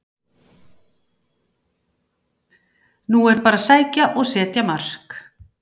Nú er bara að sækja og setja mark!